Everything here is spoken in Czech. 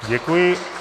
Děkuji.